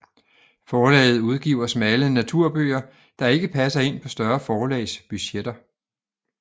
Forlaget udgiver smalle naturbøger der ikke passer ind på større forlags budgetter